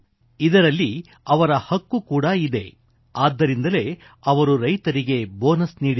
ಇದರಲ್ಲಿ ಅವರ ಹಕ್ಕು ಕೂಡಾ ಇದೆ ಆದ್ದರಿಂದಲೇ ಅವರು ರೈತರಿಗೆ ಬೋನಸ್ ನೀಡಿದರು